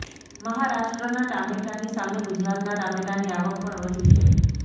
મહારાષ્ટ્રનાં ટામેટાંની સામે ગુજરાતનાં ટામેટાંની આવક પણ વધી છે